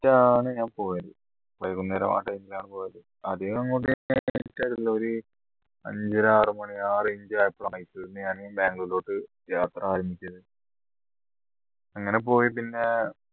റ്റ് ആണ് ഞാൻ പോയത് വൈകുന്നേരം ആ time ല പോയത് അധികം അങ്ങോട്ട് അഞ്ചര ആറ് മണി ആ range ആയപ്പോൾ ബാംഗ്ലൂരിലോട്ട് യാത്ര ആരംഭിച്ചത് അങ്ങനെ പോയി പിന്നെ